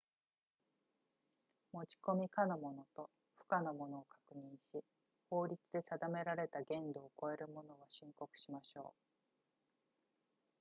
持ち込み可のものと不可のを確認し法律で定められた限度を超えるものは申告しましょう